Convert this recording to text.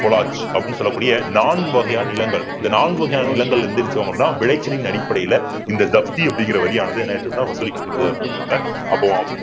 collage அப்படின்னு சொல்லக்கூடிய நான்கு வகையான நிலங்கள் இந்த நான்கு வகையான நிலங்கள்ல அப்படின்னா விளைச்சலின் அடிப்படையில இந்த ஜப்தி அப்படிங்கிற வரியானது என்ன ஆயிருக்குன்னா வசூலிக்கப்படுது